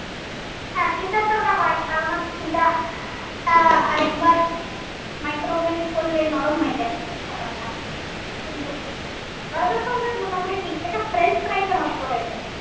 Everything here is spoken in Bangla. হ্যাঁ পিৎজাতে ওটা হয় কারণ হচ্ছে আহ আর একবার micro oven এ করলে নরম হয়ে যায় ব্যাপারটা। কিন্তু berger ফার্গার মোটামুটি ঠিক থাকে french fries টা নষ্ট হয়ে যায়।